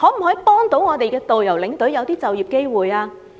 可否協助導遊和領隊，製造就業機會？